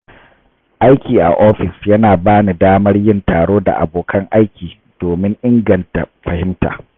Aiki a ofis yana ba ni damar yin taro da abokan aiki domin inganta fahimta.